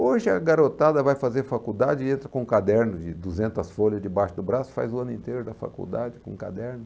Hoje a garotada vai fazer faculdade e entra com um caderno de duzentas folhas debaixo do braço e faz o ano inteiro da faculdade com um caderno.